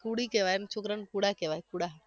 કુડી કહેવાય અને છોકરાને કુડા કહેવાય કુડા